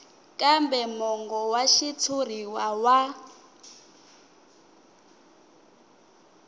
kambe mongo wa xitshuriwa wa